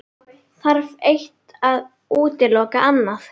Þarf eitt að útiloka annað?